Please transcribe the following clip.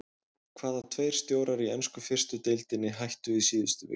Hvaða tveir stjórar í ensku fyrstu deildinni hættu í síðustu viku?